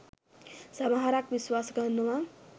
සමහරක් විශ්වාස කරනවා.